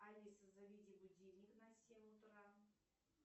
алиса заведи будильник на семь утра